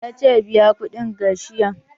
Ya ce 'Biya kuɗin ga kashiyan'!